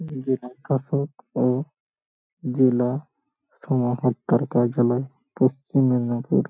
উম জেলাশাসক ও জেলা সমাহর্তার কার্য্যালয় পশ্চিম মিদনাপুর ।